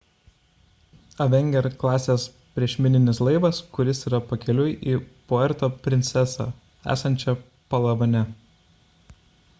avenger klasės priešmininis laivas kuris yra pakeliui į puerto prinsesą esančią palavane